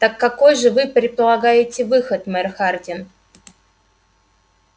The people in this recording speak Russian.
так какой же вы предлагаете выход мэр хардин